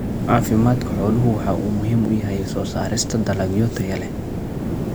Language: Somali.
Caafimaadka xooluhu waxa uu muhiim u yahay soo saarista dalagyo tayo leh.